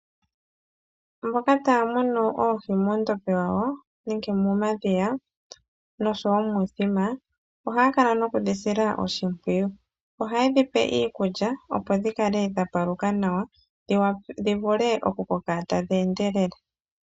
Mboka tay munu oohi muundombe wawo nenge momadhiya nosho wo muuthima, ohaya kala noku dhi sila oshimpwiyu. Ohaye dhi pe iikulya opo dhi kale dha paluka nawa, dhi vule oku koka tadhi endelele.